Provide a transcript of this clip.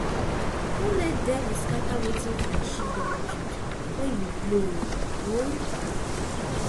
no let devil scatter wetin friendship don build wen you blow o um